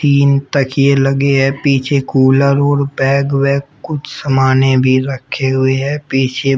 तीन तकिए लगे हैं पीछे कूलर और बैग वैग कुछ सामाने भी रखे हुए हैं पीछे--